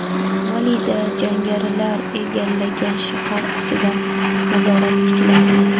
Malida jangarilar egallagan shahar ustidan nazorat tiklandi.